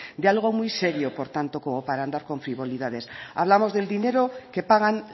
de algo muy serio por tanto como para andar con frivolidades hablamos del dinero que pagan